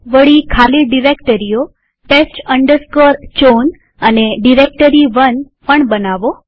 વળી ખાલી ડિરેક્ટરીઓ test chown અને ડાયરેક્ટોટી1 પણ બનાવો